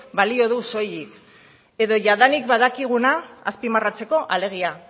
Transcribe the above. balio du soilik edo jadanik badakiguna azpimarratzeko alegia